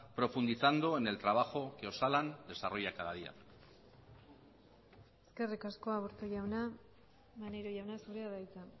profundizando en el trabajo que osalan desarrolla cada día eskerrik asko aburto jauna maneiro jauna zurea da hitza